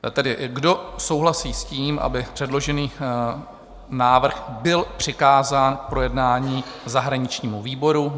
Tedy kdo souhlasí s tím, aby předložený návrh byl přikázán k projednání zahraničnímu výboru?